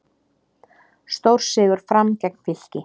Stórsigur Fram gegn Fylki